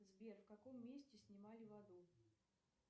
сбер в каком месте снимали в аду